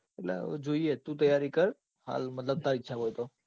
એટલે જોઈએ તું તૈયારી કર મતલબ હાલ તારી ઈચ્છા હોય તો.